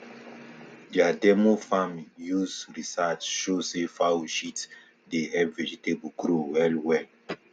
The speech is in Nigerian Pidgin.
their demo farm use research show say fowl shit dey help vegetables grow well well